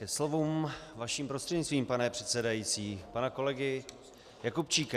Ke slovům, vaším prostřednictvím, pane předsedající, pana kolegy Jakubčíka.